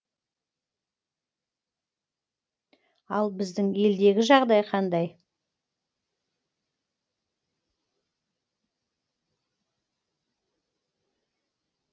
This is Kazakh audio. ал біздің елдегі жағдай қандай